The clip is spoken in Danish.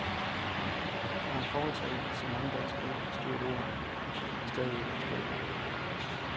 Det var en forholdsregel, som mange danskere ikke forstod et ord af, og stadig ikke forstår.